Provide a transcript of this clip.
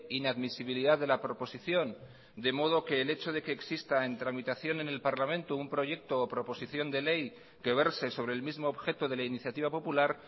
inadmisibilidad de la proposición de modo que el hecho de que exista en tramitación en el parlamento un proyecto o proposición de ley que verse sobre el mismo objeto de la iniciativa popular